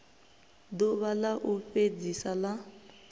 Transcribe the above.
ḓuvha ḽa u fhedzisa ḽa